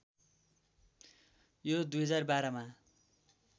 यो २०१२ मा